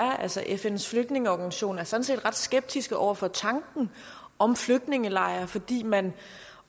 altså fns flygtningeorganisation er sådan set ret skeptisk over for tanken om flygtningelejre fordi man